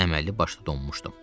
Əməlli başlı donmuşdum.